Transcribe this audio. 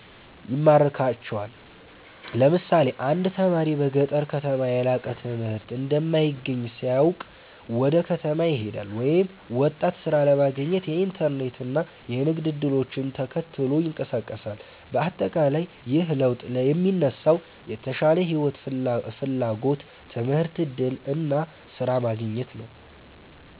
ይማርካቸዋል። ለምሳሌ አንድ ተማሪ በገጠር ከተማ የላቀ ትምህርት እንደማይገኝ ሲያውቅ ወደ ከተማ ይሄዳል፤ ወይም ወጣት ሥራ ለማግኘት የኢንተርኔት እና የንግድ እድሎችን ተከትሎ ይንቀሳቀሳል። በአጠቃላይ ይህ ለውጥ የሚነሳው የተሻለ ሕይወት ፍላጎት፣ ትምህርት እድል እና ስራ ማግኘት ነው።